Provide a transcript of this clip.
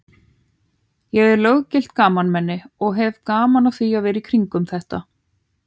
Ég er löggilt gamalmenni og hef gaman að því að vera í kringum þetta.